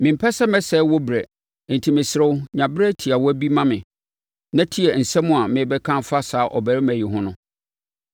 Mempɛ sɛ mesɛe wo berɛ enti mesrɛ wo sɛ nya berɛ tiawa bi ma me na tie asɛm a merebɛka afa saa ɔbarima yi ho no.